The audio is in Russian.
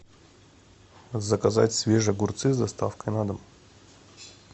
заказать свежие огурцы с доставкой на дом